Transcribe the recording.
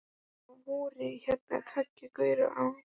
Það voru hérna tveir gaurar áðan.